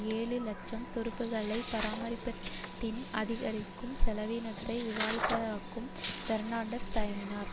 இலட்சம் துருப்புக்களை பராமரிப்பதன் அதிகரிக்கும் செலவீனத்தை விவாதிப்பதற்கு பெர்ணான்டஸ் தயங்கினார்